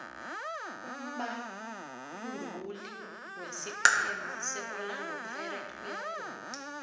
umbabduli wesiqhema se orlando pirates uyagula